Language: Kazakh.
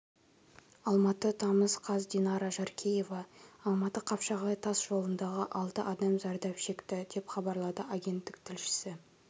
алматы тамыз қаз динара жаркеева алматы-қапшағай тас жолындағы алты адам зардап шекті деп хабарлады агенттік тілшісі